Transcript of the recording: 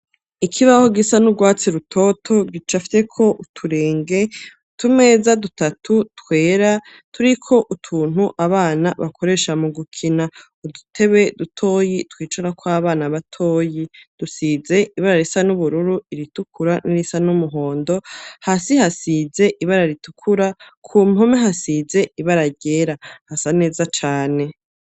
Ikibaho gisa n'urwatsi rutoto gicafyeko uturenge, utumeza dutatu twera turiko utuntu abana bakoresha mu gukina. Udutebe dutoyi twicarako abana batoyi, dusize ibara risa n'ubururu, iritukura n'irisa n'umuhondo, hasi hasize ibara ritukura, ku mpome hasize ibara ryera, hasa neza cane.